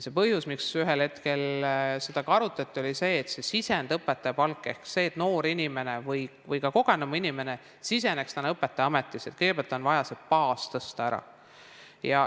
See põhjus, miks ühel hetkel seda ka arutati, oli see sisend, õpetaja palk, ning see, et selleks, et noor inimene või ka kogenum inimene siseneks täna õpetajaametisse, on kõigepealt vaja baasi tõsta.